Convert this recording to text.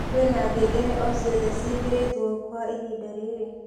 kwĩna ngengere o cĩothe cĩĩkĩrĩtwo kwa ĩhĩnda riri